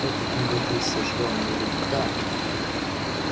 этот негодяй сожрал мою рыбу так